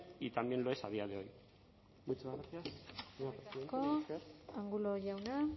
y también lo es a día de hoy muchas gracias eskerrik asko angulo jauna